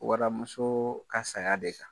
Wadamusoo ka saya de kan.